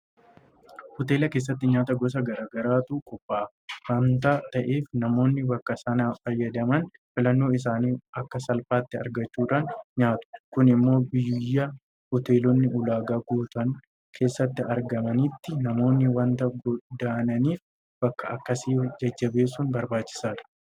Hoteela keessatti nyaata gosa garaa garaatu qophaa'a waanta ta'eef namoonni bakka sanaa fayyadaman filannoo isaanii akka salphaatti argachuudhaan nyaatu. Kun immoo biyya Hoteelonni ulaagaa guutan keessatti argamanitti namoonni waanta godaananiif bakka akkasii jajjabeessuun barbaachisaadha.